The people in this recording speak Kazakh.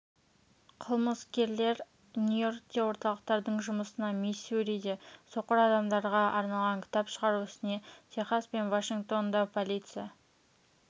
қылмыскерлер нью-йоркте орталықтардың жұмысына миссуриде соқыр адамдарға арналған кітап шығару ісіне техас пен вашингтонда полиция